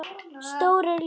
Stórir, litlir.